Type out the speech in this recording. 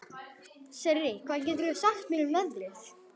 Sirrí, hvað geturðu sagt mér um veðrið?